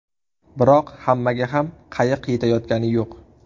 Biroq hammaga ham qayiq yetayotgani yo‘q.